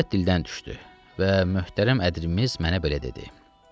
Söhbət dildən düşdü və möhtərəm ədirimiz mənə belə dedi: